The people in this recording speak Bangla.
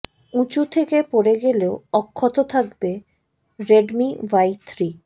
উঁচু থেকে পড়ে গেলেও অক্ষত থাকবে রেডমি ওয়াই থ্রি